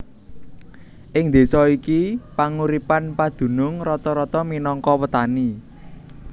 Ing désa iki panguripan padunung rata rata minangka petani